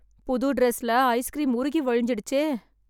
புது ட்ரெஸ்ல, ஐஸ்க்ரீம் உருகி வழிஞ்சிடுச்சே....